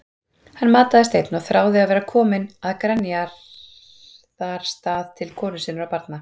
Hann mataðist einn og þráði að vera kominn að Grenjaðarstað til konu sinnar og barna.